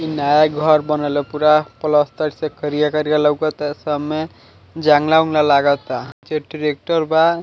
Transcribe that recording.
इ नया घर बनल है पूरा प्लास्तर से करिया-करिया लउकता सब में जंगला उंगला लागता जे ट्रेक्टर बा --